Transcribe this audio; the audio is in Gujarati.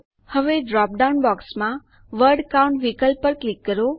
હવે ડ્રોપડાઉન બોક્સમાં વર્ડ કાઉન્ટ વિકલ્પ પર ક્લિક કરો